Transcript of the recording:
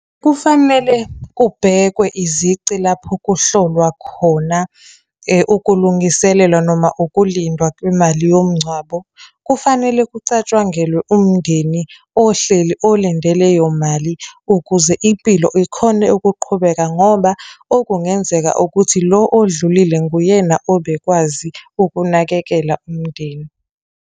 Kufanele kubhekwe izici lapho kuhlolwa khona ukulungiselelwa noma ukulindwa kwemali yomngcwabo, kufanele kucatshangelwe umndeni ohleli olinde leyo mali ukuze impilo ikhone ukuqhubeka, ngoba okungenzeka ukuthi lo odlulile nguyena obekwazi ukunakekela umndeni.